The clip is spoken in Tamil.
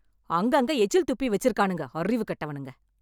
அங்கங்க எச்சில் துப்பி வெச்சிருக்கானுங்க அறிவு கெட்டவனுங்க.